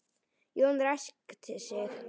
Jón ræskti sig.